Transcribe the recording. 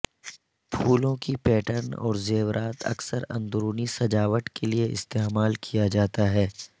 پھولوں کی پیٹرن اور زیورات اکثر اندرونی سجاوٹ کے لئے استعمال کیا جاتا ہے